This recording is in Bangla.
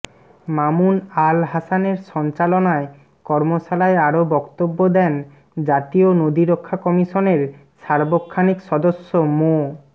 মামুন আল হাসানের সঞ্চালনায় কর্মশালায় আরও বক্তব্য দেন জাতীয় নদী রক্ষা কমিশনের সার্বক্ষানিক সদস্য মো